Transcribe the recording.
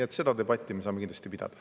Aga seda debatti me saame kindlasti pidada.